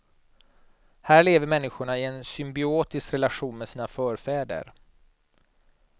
Här lever människorna i en symbiotisk relation med sina förfäder.